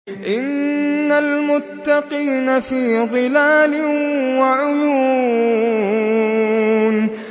إِنَّ الْمُتَّقِينَ فِي ظِلَالٍ وَعُيُونٍ